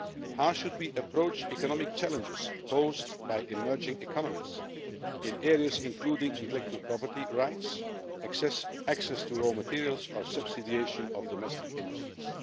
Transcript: How should we approach economic challenges posed by emerging economies in areas including intellectual property rights, access to raw materials or subsidisation of domestic industries?